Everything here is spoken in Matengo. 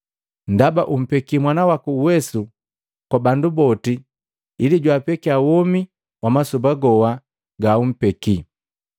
Ndaba umpeki Mwana waku uwesu kwa bandu boti ili jwapekia womi wa masoba goa gaumpeki.